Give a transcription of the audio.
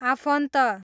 आफन्त